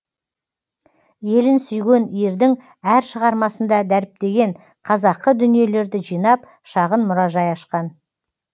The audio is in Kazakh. елін сүйген ердің әр шығармасында дәріптеген қазақы дүниелерді жинап шағын мұражай ашқан